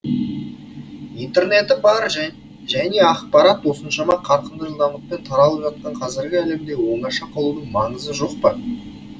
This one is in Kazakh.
интернеті бар және ақпарат осыншама қарқынды жылдамдықпен таралып жатқан қазіргі әлемде оңаша қалудың маңызы жоқ па